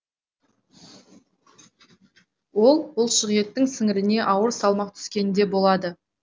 ол бұлшықеттің сіңіріне ауыр салмақ түскенде болады